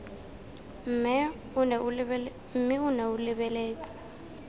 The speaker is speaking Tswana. mme o nne o lebeletse